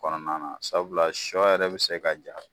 Kɔnɔmana sabula sɔ yɛrɛ be se ka ja